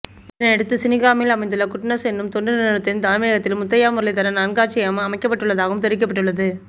இதனையடுத்து சீனிகமவில் அமைந்துள்ள குட்னஸ் எனும் தொண்டு நிறுவனத்தின் தலைமையகத்தில் முத்தையா முரளிதரன் அருங்காட்சியகம் அமைக்கப்படவுள்ளதாகவும் தெரிவிக்கப்பட்டுள்ளது